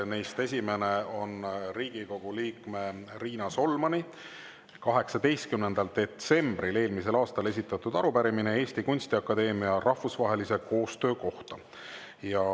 Neist esimene on Riigikogu liikme Riina Solmani 18. detsembril eelmisel aastal esitatud arupärimine Eesti Kunstiakadeemia rahvusvahelise koostöö kohta.